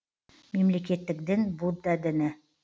мемлекеттік дін будда діні